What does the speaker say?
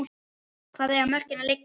Hvar eiga mörkin að liggja?